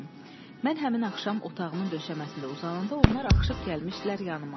Mən həmin axşam otağımın döşəməsində uzananda onlar axışıb gəlmişdilər yanıma.